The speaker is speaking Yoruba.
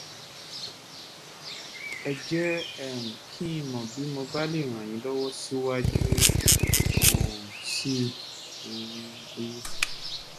ẹ jẹ́ um kí n mọ̀ bí mo bá lè ràn yín lọ́wọ́ síwájú um sí um i